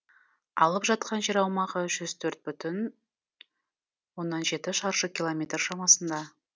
алып жатқан жер аумағы жүз төрт бүтін оннан жеті шаршы километр шамасында